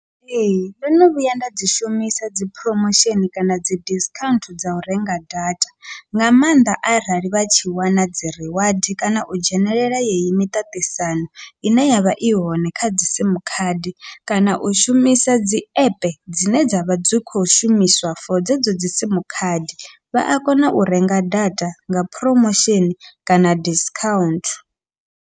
Ee, ndo no vhuya nda dzi shumisa dzi promotion kana dzi discount dza u renga data, nga maanḓa arali vha tshi wana dzi reward kana u dzhenelela yeyi miṱaṱisano ine yavha i hone kha dzi simu khadi, kana u shumisa dzi app dzine dzavha dzi kho shumiswa for dzedzo dzi simu khadi vha a kona u renga data nga promotion kana discount.